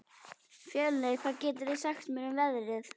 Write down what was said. Fjölnir, hvað geturðu sagt mér um veðrið?